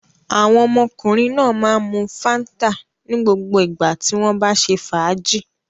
Àwọn ọmọkùnrin náà máa ń mu Fanta ní gbogbo ìgbà tí wọ́n bá ṣe fàájì.